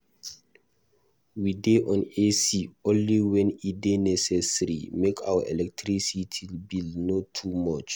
We dey on AC only wen e dey necessary, make our electricity bill no too much.